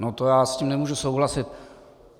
No to já s tím nemůžu souhlasit.